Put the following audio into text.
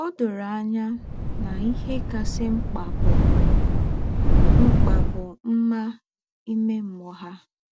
Ó dórò ànyá nà íhè kásị̀ m̀kpà bụ́ m̀kpà bụ́ mmá ìmè mmụ́ọ́ há.